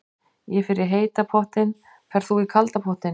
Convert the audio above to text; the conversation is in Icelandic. Ég fer í heita pottinn. Ferð þú í kalda pottinn?